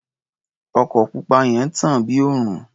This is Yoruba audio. Ọkọ̀ pupa yẹn ń tàn bí òrùn.